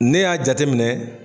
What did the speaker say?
Ne y'a jate minɛ